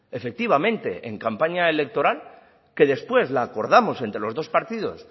efectivamente en campaña electoral que después la acordamos entre los dos partidos